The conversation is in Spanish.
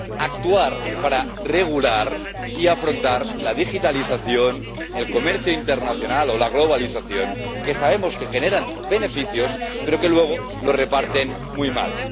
Actuar para regular y afrontar la digitalización, el comercio internacional o la globalización, que sabemos que generan beneficios pero que luego los reparten muy mal.